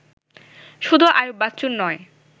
শুধু আইয়ুব বাচ্চুর নয়